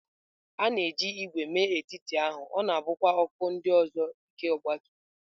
A na-eji ígwè mee etiti ahụ, ọ na-ebukwa akụkụ ndị ọzọ nke ọgbatumtum.